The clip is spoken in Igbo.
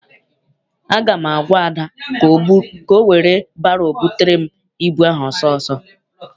Aga m agwa Ada ka ọ were baro butere m ịbụ ahụ ọsọ ọsọ!